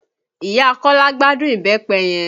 Ìyá Kọ́lá gbádùn Ìbẹ́pẹ yẹn